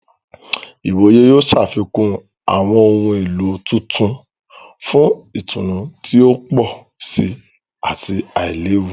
Ìwòyè yóò ṣàfikún awọn ohùn èló tuntun fún ìtùnú ti o pọ sí ati ailewu.